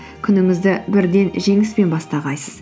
күніңізді бірден жеңіспен бастамайсыз